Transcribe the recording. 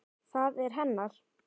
Það er hennar.